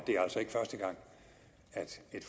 første gang at et